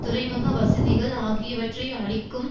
துறைமுக வசதிகள் ஆகியவற்றை அழிக்கும்